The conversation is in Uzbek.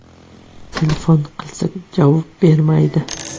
Telefon qilsak, javob bermaydi.